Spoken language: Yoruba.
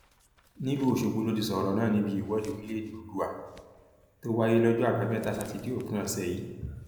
nílùú ọṣọgbó ló ti sọrọ náà níbi ìwọde orílẹèdè oòdùà tó wáyé lọjọ àbámẹta sátidé òpin ọsẹ yìí